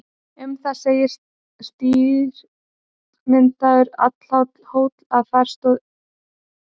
Um það segir: Strýtumyndaður, allhár hóll, en þar stóð eyðihjáleigan Strútur áður.